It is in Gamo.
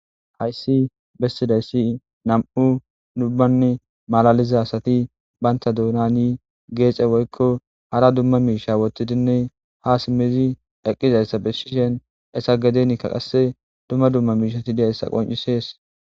Hayssi bessizayssi nami'u malaliza asati banta doonan geexe woykko hara dumma miishsha woththidinne ha simmidi eqqidayssa bessishin heesa gedenikka qasse dumma dumma miishshati diyays beettes.